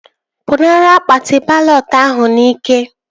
Pụnara akpati balọt ahụ n'ike!